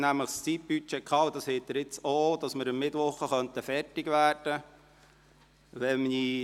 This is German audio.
Im Zeitbudget, das Ihnen jetzt auch vorliegt, hatten wir nämlich stehen, dass wir am Mittwoch der zweiten Woche fertig werden könnten.